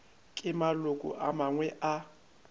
ke maloko a mangwe a